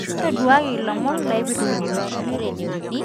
ntoduakaki ilomon laipirrtu kibaki